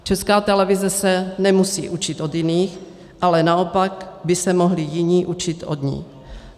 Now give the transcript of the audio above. Česká televize se nemusí učit od jiných, ale naopak by se mohli jiní učit od ní.